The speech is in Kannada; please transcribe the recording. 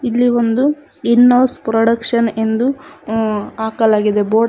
ಇಲ್ಲಿ ಒಂದು ಇನ್ ಹೌಸ್ ಪ್ರೊಡಕ್ಷನ್ ಎಂದು ಅ ಹಾಕಲಾಗಿದೆ ಬೋರ್ಡ್ --